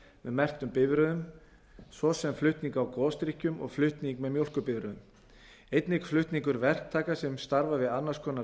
með merktum bifreiðum svo sem flutning á gosdrykkjum og flutning með mjólkurbifreiðum einnig flutningur verktaka sem starfa við annars konar